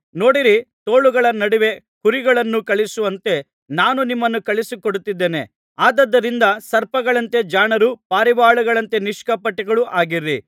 ನೋಡಿರಿ ತೋಳಗಳ ನಡುವೆ ಕುರಿಗಳನ್ನು ಕಳುಹಿಸುವಂತೆ ನಾನು ನಿಮ್ಮನ್ನು ಕಳುಹಿಸಿಕೊಡುತ್ತಿದ್ದೇನೆ ಆದುದರಿಂದ ಸರ್ಪಗಳಂತೆ ಜಾಣರೂ ಪಾರಿವಾಳಗಳಂತೆ ನಿಷ್ಕಪಟಿಗಳೂ ಆಗಿರಿ